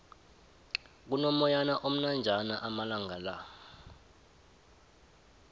kuno moyana omnanjana amalangala